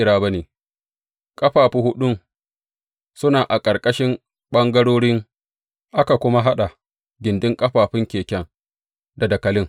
Ƙafafu huɗun suna a ƙarƙashin ɓangarorin, aka kuma haɗa gindin ƙafafun keken da dakalin.